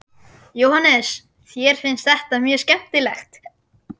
Jóhannes: Þér finnst þetta mjög skemmtilegt?